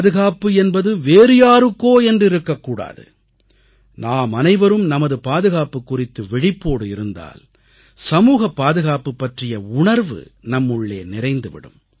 பாதுகாப்பு என்பது வேறு யாருக்கோ என்றிருக்க கூடாது நாமனைவரும் நமது பாதுகாப்பு குறித்து விழிப்போடு இருந்தால் சமூகப்பாதுகாப்பு பற்றிய உணர்வு நம்முள்ளே நிறைந்து விடும்